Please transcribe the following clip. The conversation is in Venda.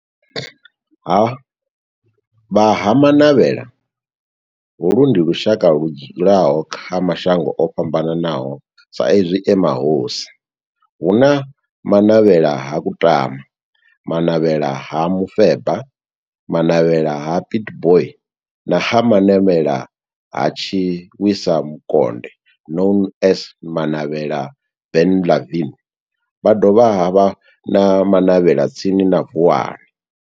Ha Vha Ha-Manavhela, holu ndi lushaka ludzula kha mashango ofhambanaho sa izwi e mahosi, hu na Manavhela ha Kutama, Manavhela ha Mufeba, Manavhela ha Pietboi na Manavhela ha Tshiwisa Mukonde known as Manavhela Benlavin, ha dovha havha na Manavhela tsini na Vuwani.